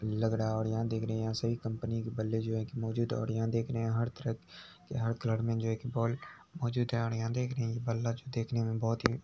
लग रहा और यहाँ देख रहे यहाँ सभी कम्पनी बल्ले जो है की मौजूद और यहाँ देख रहे हर तरह के हर कलर मे जो है के बॉल मौजूद है और यहाँ देख रहे बल्ला जो देखने मे बहुत ही --